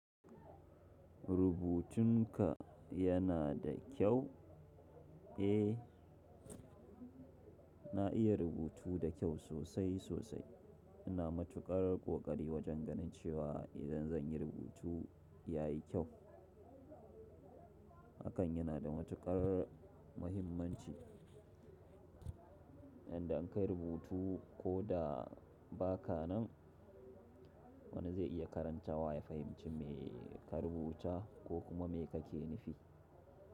Rubutunka yana da kyau? Eh, na iya rubutu da kyau sosai sosai. Ina matukar ƙoƙari wajen ganin cewa idan zan yi rubutu, ya yi kyau. Hakan yana da matukar muhimmanci. Inda an kai rubutu ko da ba ka nan, wani zai iya karanta wa, ya fahimci me ka rubuta ko kuma me kake nufi.